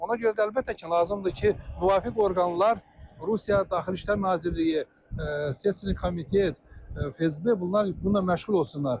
Ona görə də əlbəttə ki, lazımdır ki, müvafiq orqanlar, Rusiya Daxili İşlər Nazirliyi, İstintaq Komiteti, FSB bunlar bununla məşğul olsunlar,